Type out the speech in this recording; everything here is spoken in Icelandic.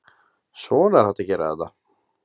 Svona er hægt að gera þetta?